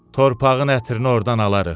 Torpağın ətrini ordan alarıq.